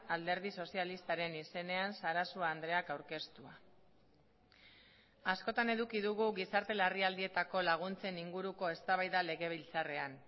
alderdi sozialistaren izenean sarasua andreak aurkeztua askotan eduki dugu gizarte larrialdietako laguntzen inguruko eztabaida legebiltzarrean